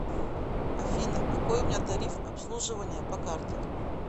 афина какой у меня тариф обслуживания по карте